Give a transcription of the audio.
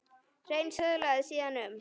Hreinn söðlaði síðan um.